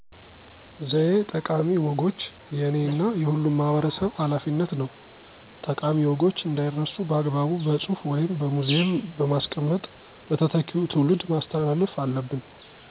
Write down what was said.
ዘዬ ጠቃሚ ወጎች የእኔ እና የሁሉም ማህበረሰብ ሀላፊነት ነው። ጠቃሚ ወጎች እንዳይረሱ በአግባቡ በፅሁፍ ወይም በሙዚየም በማስቀመጥ ለተተኪው ትውልድ ማስተላለፍ አለብን።